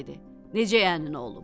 Əhməd dedi: Necə yəni nə olub?